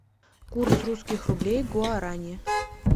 курс русских рублей к гуарани